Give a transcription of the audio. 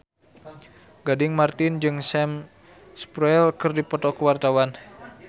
Gading Marten jeung Sam Spruell keur dipoto ku wartawan